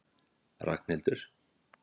Ragnhildur